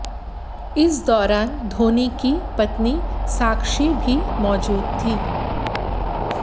इस दौरान धोनी की पत्नी साक्षी भी मौजूद थी